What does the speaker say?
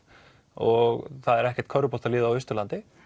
og það er ekkert körfuboltalið á Austurlandi